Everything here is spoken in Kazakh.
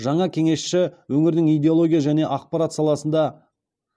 жаңа кеңесші өңірдің идеология және ақпарат саласында